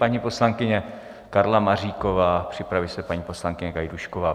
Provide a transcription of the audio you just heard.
Paní poslankyně Karla Maříková, připraví se paní poslankyně Gajdůšková.